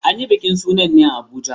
An yi bikin sa sunan ne a Abuja.